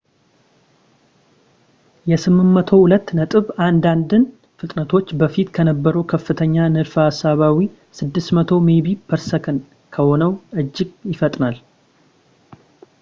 የ802.11n ፍጥነቶች በፊት ከነበረው ከፍተኛ ንድፈ ሀሳባዊ 600 ሜቢ/ሰ ከሆነው እጅግ ይፈጥናል